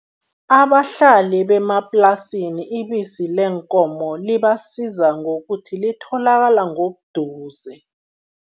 Abahlali bemaplasini, ibisi leenkomo libasiza ngokuthi litholakala ngobuduze.